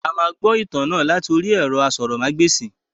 A máa gbọ ìtàn náà láti orí ẹ̀rọ asọ̀rọ̀mágbèsì.